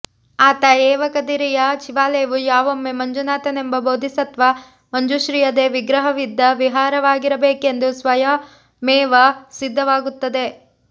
ಆತಏವ ಕದಿರೆಯ ಶಿವಾಲಯವು ಯಾವೊಮ್ಮೆ ಮಂಜುನಾಥನೆಂಬ ಬೋಧಿಸತ್ತ್ವ ಮಂಜುಶ್ರೀಯದೇ ವಿಗ್ರಹವಿದ್ದ ವಿಹಾರವಾಗಿರಬೇಕೆಂದು ಸ್ವಯಮೇವ ಸಿದ್ಧವಾಗುತ್ತದೆ